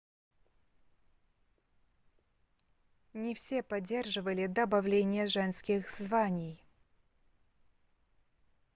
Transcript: не все поддерживали добавление женских званий